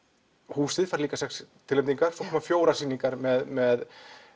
húsið fær líka sex tilnefningar svo koma fjórar sýningar með